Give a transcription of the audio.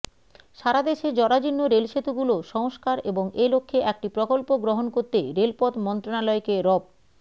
সারাদেশের জরাজীর্ণ রেল সেতুগুলো সংস্কার এবং এ লক্ষ্যে একটি প্রকল্প গহণ করতে রেলপথ মন্ত্রণালয়কে রব